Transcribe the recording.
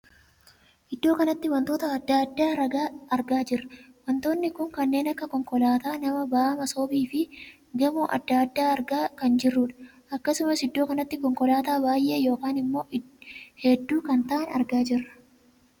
Iddoo kanatti wantoota addaa addaa argaa jirra. wantoonni kun kanneen akka konkolaataa, nama baa'a masoobii fi gamoo addaa addaa argaa kan jirruudha. akkasumas iddoo kanatti konkolaataa baay'ee ykn ammoo hedduu kan taa'an argaa jirra.